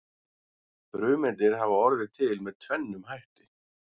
Frumeindir hafa orðið til með tvennum hætti.